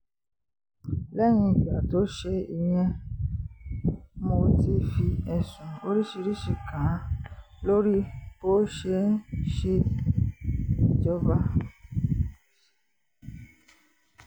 lẹ́yìn ìgbà tó ṣe ìyẹn mo ti fi ẹ̀sùn oríṣiríṣiì kàn án lórí bó ṣe ń ṣèjọba